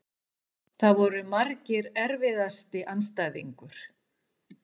Það voru margir Erfiðasti andstæðingur?